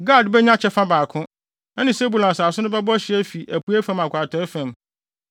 Gad benya kyɛfa baako; ɛne Sebulon asase no bɛbɔ hye afi apuei fam akɔ atɔe fam.